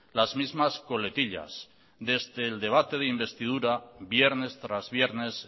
las mismas coletillas desde el debate de investidura viernes tras viernes